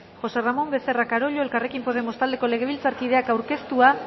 josé ramón becerra carollo elkarrekin podemos taldeko legebiltzarkideak aurkeztua